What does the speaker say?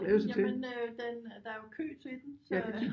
Jamen den der er jo kø til den så